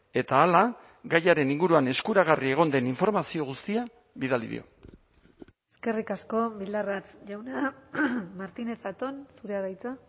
eta hala gaiaren inguruan eskuragarri egon den informazio guztia bidali dio eskerrik asko bildarratz jauna martínez zatón zurea da hitza